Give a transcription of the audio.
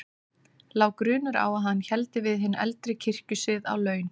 Lá grunur á að hann héldi við hinn eldri kirkjusið á laun.